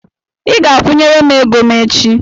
I ga-akwụnyere m ego m echi!